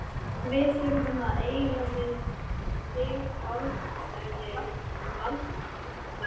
Við þurfum að eiga við þig orð- sagði Valdimar.